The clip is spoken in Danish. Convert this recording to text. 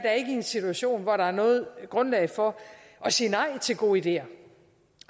er i en situation hvor der er noget grundlag for at sige nej til gode ideer